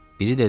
Biri dedi: